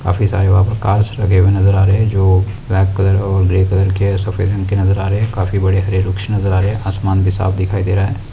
काफ़ी सारे है जो ब्लैक कलर और ग्रे कलर के सफेद रंग के नजर आ रहे है काफी बड़े हरे कृष्णा हरे आसमान भी साफ़ दिखाई दे रहा है।